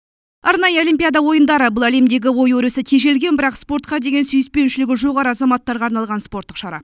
арнайы олимпиада ойындары бұл әлемдегі ой өрісі тежелген бірақ спортқа деген сүйіспеншілігі жоғары азаматтарға арналған спорттық шара